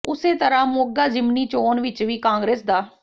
ਉਸੇ ਤਰ੍ਹਾਂ ਮੋਗਾ ਜ਼ਿਮਨੀ ਚੋਣ ਵਿਚ ਵੀ ਕਾਂਗਰਸ ਦ